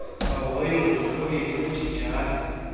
bahoywe ngumthobeli benjenjalo